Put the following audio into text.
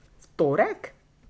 V torek?